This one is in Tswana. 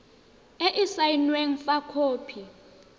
e e saenweng fa khopi